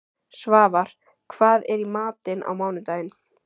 Svafar, hvað er í matinn á mánudaginn?